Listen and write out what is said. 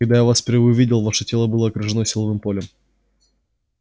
когда я вас впервые увидел ваше тело было окружено силовым полем